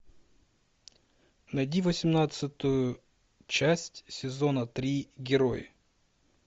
найди восемнадцатую часть сезона три герой